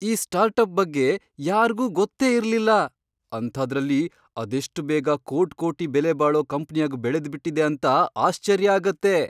ಆ ಸ್ಟಾರ್ಟಪ್ ಬಗ್ಗೆ ಯಾರ್ಗೂ ಗೊತ್ತೇ ಇರ್ಲಿಲ್ಲ, ಅಂಥಾದ್ರಲ್ಲಿ ಅದೆಷ್ಟ್ ಬೇಗ ಕೋಟ್ಕೋಟಿ ಬೆಲೆಬಾಳೋ ಕಂಪ್ನಿಯಾಗ್ ಬೆಳೆದ್ಬಿಟಿದೆ ಅಂತ ಆಶ್ಚರ್ಯ ಆಗತ್ತೆ.